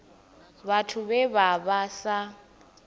vhathu vhe vha vha sa